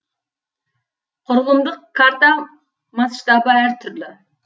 құрылымдық карта масштабы әр түрлі